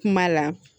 Kuma la